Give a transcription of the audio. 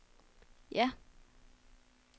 ja